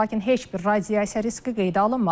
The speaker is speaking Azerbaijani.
Lakin heç bir radiasiya riski qeydə alınmadı.